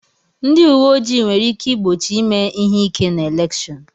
Ndị uwe ojii nwere ike igbochi ime ihe ike na elèkshón